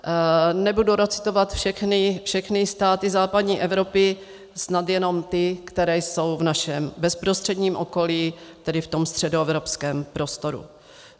Nebudu recitovat všechny státy západní Evropy, snad jenom ty, které jsou v našem bezprostředním okolí, tedy v tom středoevropském prostoru.